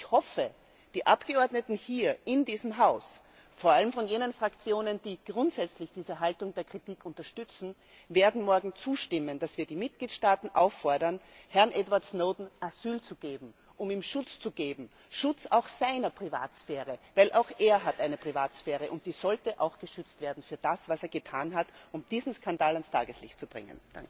Und ich hoffe, die Abgeordneten hier in diesem Haus, vor allem von jenen Fraktionen, die grundsätzlich diese Haltung der Kritik unterstützen, werden morgen zustimmen, dass wir die Mitgliedstaaten auffordern, Herrn Edward Snowden Asyl zu geben, um ihm Schutz zu geben, Schutz auch seiner Privatsphäre, denn auch er hat eine Privatsphäre und die sollte auch geschützt werden für das, was er getan hat, um diesen Skandal ans Tageslicht zu bringen.